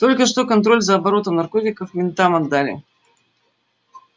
только что контроль за оборотом наркотиков ментам отдали